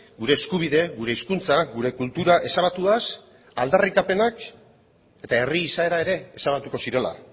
gure eskubide gure hizkuntza gure kultura ezabatuaz aldarrikapenak eta herri izaera ere ezabatuko zirela